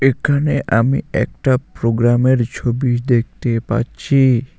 এখানে আমি একটা প্রোগ্রামের ছবি দেখতে পাচ্ছি।